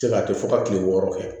Se ka kɛ fɔ ka kile wɔɔrɔ kɛ